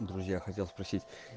друзья хотят спросить